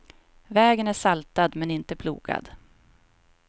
Vägen är saltad, men inte plogad.